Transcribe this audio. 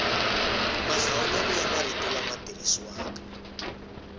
mahlawulelo ya marito lama tirhisiwaka